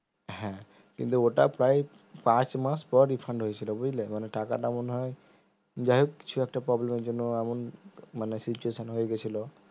হ্যাঁ কিন্তু ওটা প্রায় পাঁচ মাস পর refund হয়েছিল বুঝলে মানে টাকাটা মনে হয় যাইহোক কিছু একটা problem এর জন্য এমন মানে situation হয়ে গেছিলো